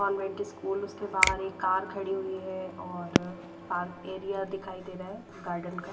government school उसके बाहर एक कार खड़ी हुई है और पार्क एरिया दिखाई दे रहा है गार्डन का--